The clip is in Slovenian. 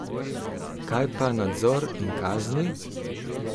Kaj pa nadzor in kazni?